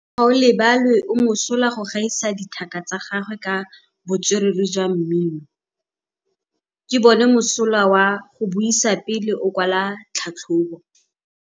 Gaolebalwe o mosola go gaisa dithaka tsa gagwe ka botswerere jwa mmino. Ke bone mosola wa go buisa pele o kwala tlhatlhobô.